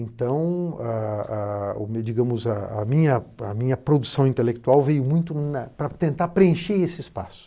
Então, digamos, a minha, a minha produção intelectual veio muito para tentar preencher esse espaço.